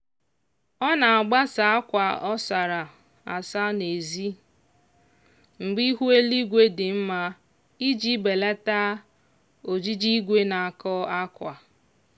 ọ na-agbasa akwa ọ sara asa n'ezi mgbe ihu eluigwe dị mma iji belata ojiji igwe na-akọ akwa